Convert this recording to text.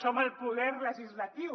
som el poder legislatiu